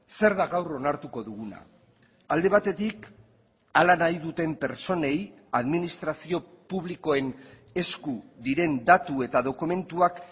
zer da gaur onartuko duguna alde batetik hala nahi duten pertsonei administrazio publikoen esku diren datu eta dokumentuak